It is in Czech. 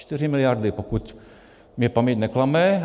Čtyři miliardy, pokud mě paměť neklame.